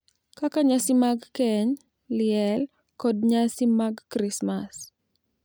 kaka nyasi mag keny, liel, kod nyasi mag Krismas .